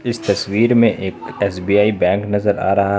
इस तस्वीर में एक एस_बी_आई बैंक नजर आ रहा--